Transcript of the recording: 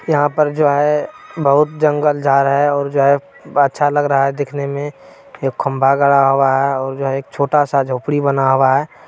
यहाँ पर जो है बहुत जंगल झार है और जो है अच्छा लग रहा है दिखने में। एक खम्भा गड़ा हुआ है और जो है एक छोटा सा झोपड़ी बना हुआ है।